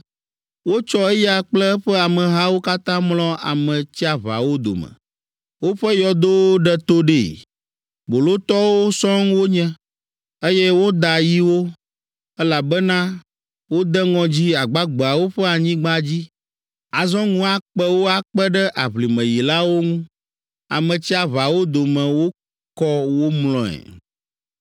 Wotsɔ eya kple eƒe amehawo katã mlɔ Ame tsiaʋawo dome, woƒe yɔdowo ɖe to ɖee, bolotɔwo sɔŋ wonye, eye woda yi wo, elabena wode ŋɔdzi agbagbeawo ƒe anyigba dzi; azɔ ŋu akpe wo akpe ɖe aʋlimeyilawo ŋu; Ame tsiaʋawo dome wokɔ wo mlɔe.